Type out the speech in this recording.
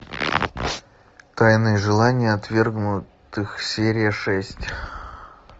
тайные желания отвергнутых серия шесть